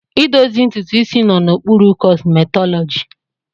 Idozi ntutu isi nọ n'okpuru kọsmetọlọji.